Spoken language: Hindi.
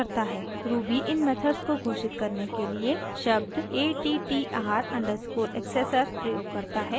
ruby इन मेथड्स को घोषित करने के लिए शब्द attr_accessor प्रयोग करता है